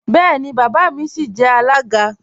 Bẹẹni, baba mi sìí jẹ alága.